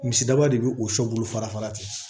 Misidaba de bi o sɔ bolo fara fara ten